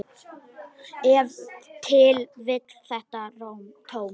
Ef til vill þetta tóm.